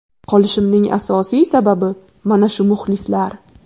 Qolishimning asosiy sababi mana shu muxlislar.